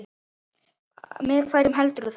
Með hverjum heldurðu þar?